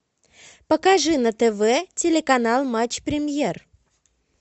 покажи на тв телеканал матч премьер